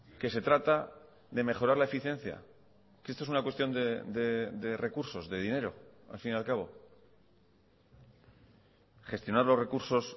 que se trata de mejorar la eficiencia que esto es una cuestión de recursos de dinero al fin y al cabo gestionar los recursos